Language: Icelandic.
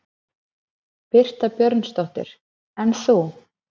Birta Björnsdóttir: En þú?